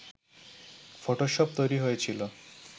Photoshop তৈরি হয়েছিল